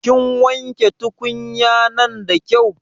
Kin wanke tukunya'nan da kyau?